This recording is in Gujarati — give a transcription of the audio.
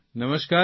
નમસ્કારજી